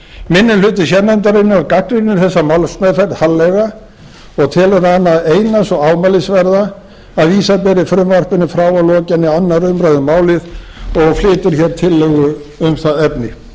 minni hluti sérnefndarinnar gagnrýnir þessa málsmeðferð harðlega og telur hana eina svo ámælisverða að vísa beri frumvarpinu frá að lokinni annarri umræðu um málið og flytur hér tillögu um það efni virðulegi